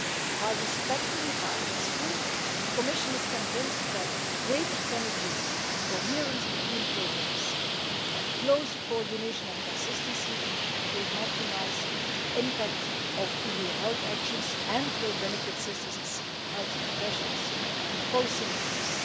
today. While respecting Parliament's view, the Commission is convinced that greater synergies and coherence between programmes, and closer coordination and consistency, will maximise the impact of EU health measures and will benefit citizens, health professionals and policymakers.